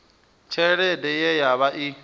tshelede ye ya vha i